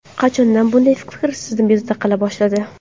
Qachondan bunday fikr sizni bezovta qila boshladi?